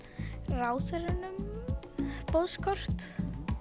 ráðherrunum boðskort